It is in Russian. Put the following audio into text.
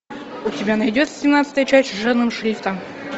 у тебя найдется семнадцатая часть жирным шрифтом